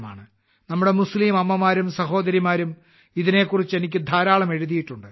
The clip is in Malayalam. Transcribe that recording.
നമ്മുടെ മുസ്ലീം അമ്മമാരും സഹോദരിമാരും ഇതിനെക്കുറിച്ച് എനിക്ക് ധാരാളം എഴുതിയിട്ടുണ്ട്